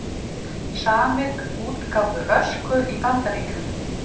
Samið um útgáfu Ösku í Bandaríkjunum